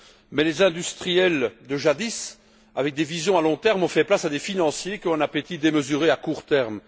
Mais les industriels de jadis, avec des visions à long terme, ont fait place à des financiers qui ont un appétit démesuré à court terme.